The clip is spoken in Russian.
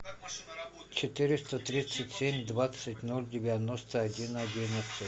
четыреста тридцать семь двадцать ноль девяносто один одиннадцать